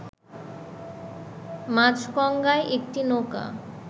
মাঝগঙ্গায় একটি নৌকা